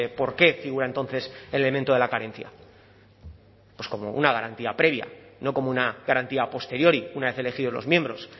por qué figura entonces el elemento de la carencia pues como una garantía previa no como una garantía a posteriori una vez elegidos los miembros